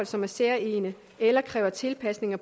som er særegne eller kræver tilpasninger